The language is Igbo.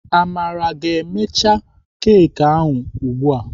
Amara ga ha emecha keki ahụ ugbu a.